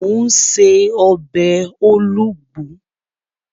Mò ún ṣe ọbẹ̀ olugbu